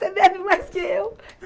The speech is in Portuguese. Você bebe mais que eu.